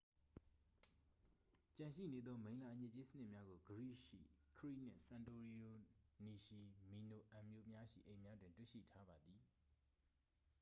ကျန်ရှိနေသော မိလ္လာအညစ်အကြေးစနစ်များကို ဂရိရှိ ခရိ နှင့် စန်တိုရီနီရှိ မီနိုအန် မြို့များရှိအိမ်များတွင် တွေ့ရှိထားပါသည်